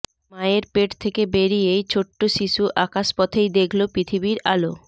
মায়ের পেট থেকে বেরিয়ে ছোট্ট শিশু আকাশপথেই দেখল পৃথিবীর আলো